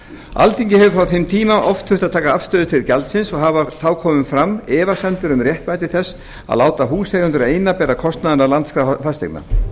alþingi hefur frá þeim tíma oft þurft að taka afstöðu til gjaldsins og hafa þá komið fram efasemdir um réttmæti þess að láta húseigendur eina bera kostnað af landskrá fasteigna